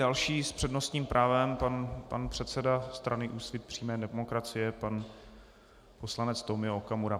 Další s přednostním právem - pan předseda strany Úsvit přímé demokracie, pan poslanec Tomio Okamura.